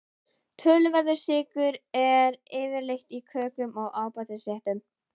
Töluverður sykur er yfirleitt í kökum og ábætisréttum.